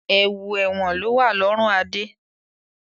Ẹ̀wù ẹ̀wọ̀n lowa lọrun Adé